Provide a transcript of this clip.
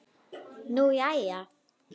Nú jæja.